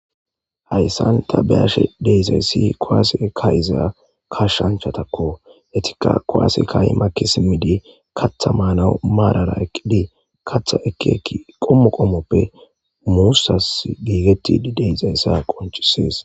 Hayssan ta beashe deisayssi koase kayyza ka shanchatakko etika koaase kayi makisimidi katha maana maarara eqqidii katha ekeeki qommo qommoppe muussas giigetti deisayssa qonchisees